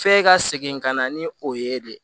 F'e ka segin ka na ni o ye de